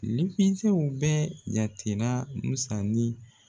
fɛnw bɛɛ jatela Musa ni